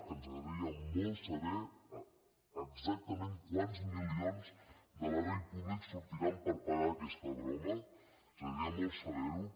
ens agradaria molt saber exactament quants milions de l’erari públic sortiran per pagar aquesta broma ens agradaria molt saber ho